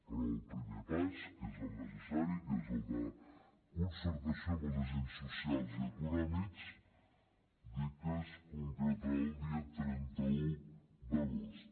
però el primer pas que és el necessari que és el de concertació amb els agents socials i econòmics dir que es concretarà el dia trenta un d’agost